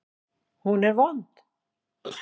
Hún er vond.